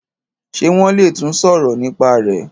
ṣe won le tún sọrọ nípa rẹ.